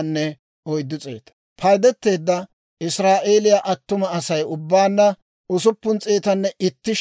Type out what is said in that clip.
Paydeteedda Israa'eeliyaa attuma Asay ubbaanna 601,730.